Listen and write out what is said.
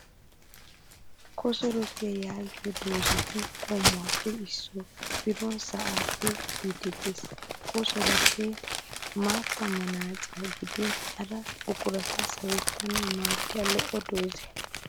Kosorootiya yaagiyo doozzati qommuwaappe issoy biron sa'aappe kiyiiddi Des. Ka kosorootee maattaa manaaciya gidin hara buqurata sawettanawu maaddiya lo'o doozza.